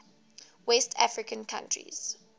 west african countries